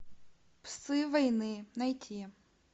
псы войны найти